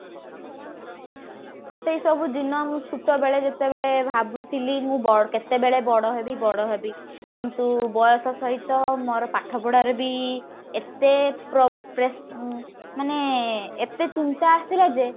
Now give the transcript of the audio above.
ସେଇସବୁ ଦିନ ମୁଁ ଛୁଟ ବେଳେ ଯେତେବେଳେ ଭାବୁଥିଲି ମୁଁ ବ କେତେବେଳେ ବଡ ହେବି ବଡ ହେବି କିନ୍ତୁ ବୟସ ସହିତ ମୋର ପାଠପଢା ରେ ବି ଏତେ ପ୍ର ପ୍ରେସ ମାନେ ଏତେ ଚିନ୍ତା ଆସିଲା ଯେ